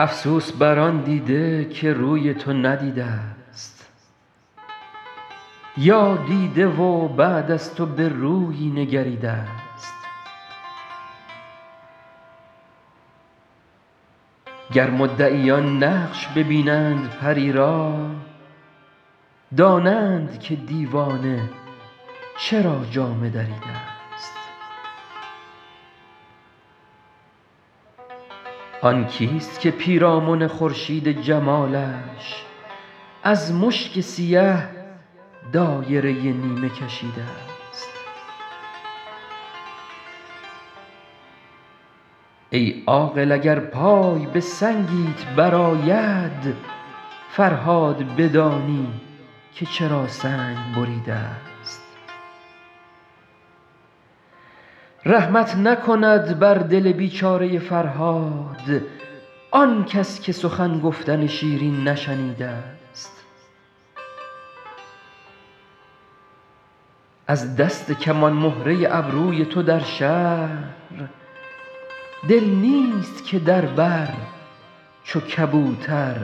افسوس بر آن دیده که روی تو ندیده ست یا دیده و بعد از تو به رویی نگریده ست گر مدعیان نقش ببینند پری را دانند که دیوانه چرا جامه دریده ست آن کیست که پیرامن خورشید جمالش از مشک سیه دایره نیمه کشیده ست ای عاقل اگر پای به سنگیت برآید فرهاد بدانی که چرا سنگ بریده ست رحمت نکند بر دل بیچاره فرهاد آنکس که سخن گفتن شیرین نشنیده ست از دست کمان مهره ابروی تو در شهر دل نیست که در بر چو کبوتر